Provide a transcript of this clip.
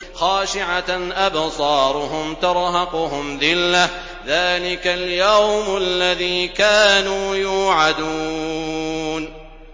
خَاشِعَةً أَبْصَارُهُمْ تَرْهَقُهُمْ ذِلَّةٌ ۚ ذَٰلِكَ الْيَوْمُ الَّذِي كَانُوا يُوعَدُونَ